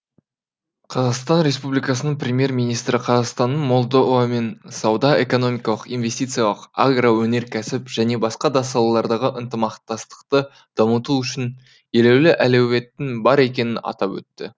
қр премьер министрі қазақстанның молдовамен сауда экономикалық инвестициялық агроөнеркәсіп және басқа да салалардағы ынтымақтастықты дамытуы үшін елеулі әлеуеттің бар екенін атап өтті